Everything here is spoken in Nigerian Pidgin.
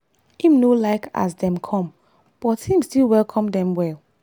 im no like as dem come but him still welcome dem well.